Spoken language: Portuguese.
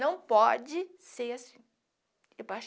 Não pode ser assim.